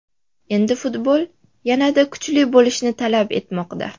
Endi futbol yanada kuchli bo‘lishni talab etmoqda.